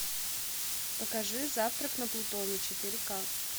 покажи завтрак на плутоне четыре ка